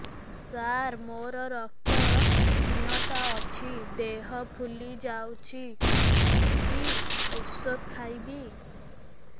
ସାର ମୋର ରକ୍ତ ହିନତା ଅଛି ଦେହ ଫୁଲି ଯାଉଛି କି ଓଷଦ ଖାଇବି